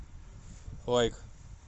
лайк